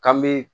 K'an me